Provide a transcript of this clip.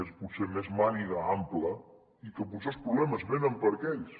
és potser més màniga ampla i potser els problemes venen per aquells